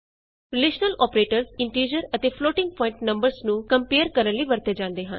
relational operators integer ਅਤੇ floating point numbers ਨੂੰ compare ਕਰਨ ਲਈ ਵਰਤੇ ਜਾਂਦੇ ਹਨ